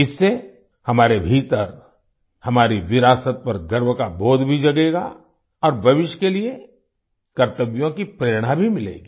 इससे हमारे भीतर हमारी विरासत पर गर्व का बोध भी जगेगा और भविष्य के लिए कर्तव्यों की प्रेरणा भी मिलेगी